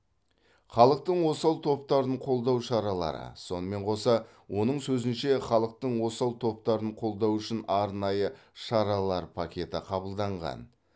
халықтың осал топтарын қолдау шаралары сонымен қоса оның сөзінше халықтың осал топтарын қолдау үшін арнайы шаралар пакеті қабылданған